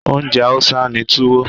Oúnjẹ Hausa ni Tuwo.